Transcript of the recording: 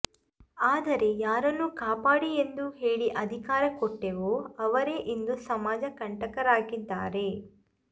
ಆದರೆ ಯಾರನ್ನು ಕಾಪಾಡಿ ಎಂದು ಹೇಳಿ ಅಧಿಕಾರ ಕೊಟ್ಟೆವೋ ಅವರೇ ಇಂದು ಸಮಾಜ ಕಂಟಕರಾಗಿದ್ದಾರೆ